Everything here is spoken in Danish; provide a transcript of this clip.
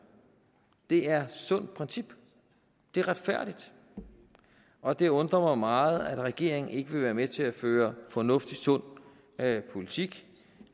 det er sundt princip det er retfærdigt og det undrer mig meget at regeringen ikke vil være med til at føre fornuftig sund politik